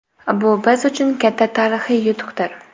Bu biz uchun katta tarixiy yutuqdir.